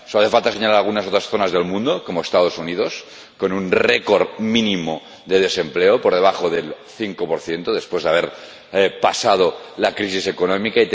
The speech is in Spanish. Solo hace falta señalar algunas otras zonas del mundo, como los Estados Unidos, con un récord mínimo de desempleo por debajo del 5 después de haber pasado la crisis económica.